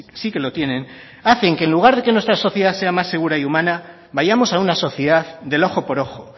sí que lo tienen hacen que en lugar de que nuestra sociedad sea más segura y humana vayamos a una sociedad del ojo por ojo